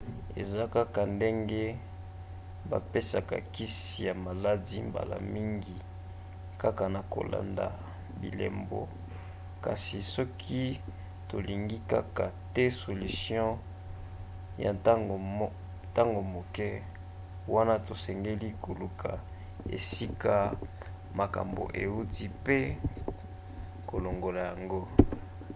eza kaka ndenge bapesaka kisi ya maladi mbala mingi kaka na kolanda bilembo. kasi soki tolingi kaka te solution ya ntango moke wana tosengeli koluka esika makambo euti pe kolongola yango